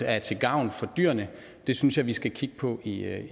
er til gavn for dyrene synes jeg vi skal kigge på i